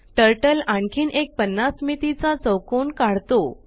turtle आणखीन एक 50 मितीचा चौकोन काढतो